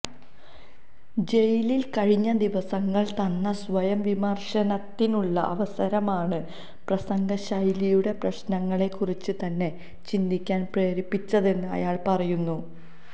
ജയിലിൽ കഴിഞ്ഞ ദിവസങ്ങൾ തന്ന സ്വയംവിമർശനത്തിനുള്ള അവസരമാണു പ്രസംഗശൈലിയുടെ പ്രശ്നങ്ങളെകുറിച്ച് തന്നെ ചിന്തിക്കാൻ പ്രേരിപ്പിച്ചതെന്ന് അയാൾ പറയുന്നു